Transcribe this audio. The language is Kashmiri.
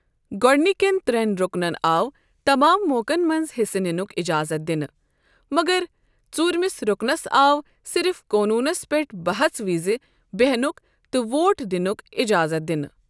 گوڈنكین تر٘ین ركنن آو تمام موقن منٛز حِصہٕ نِنک اجازت دِنہٕ ، مگر ژورۍمِس رُكنس آو صرف قونوٗنس پٮ۪ٹھ بحژٕ وِزِ بیہنُک تہٕ ووٹ دِنک اجازت دِنہٕ ۔